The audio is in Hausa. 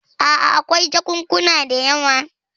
A'a, akwai jakunkuna da yawa.